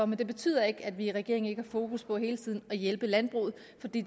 men det betyder ikke at vi i regeringen ikke har fokus på hele tiden at hjælpe landbruget